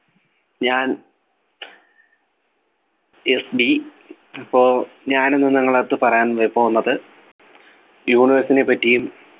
ഞാൻ FD ഇപ്പോ ഞാൻ ഇന്ന് നിങ്ങള അടുത്ത് പറയാൻ പോകുന്നത് universe നെപറ്റിയും